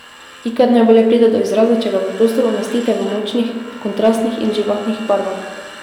Ikat najbolje pride do izraza, če ga v prostor umestite v močnih kontrastnih in živahnih barvah.